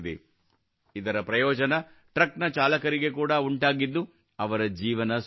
ಇದರ ಪ್ರಯೋಜನ ಟ್ರಕ್ ನ ಚಾಲಕರಿಗೆ ಕೂಡಾ ಉಂಟಾಗಿದ್ದು ಅವರ ಜೀವನ ಸುಲಭವಾಗಿದೆ